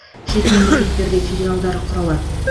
шет мемлекеттерде филиалдар құра алады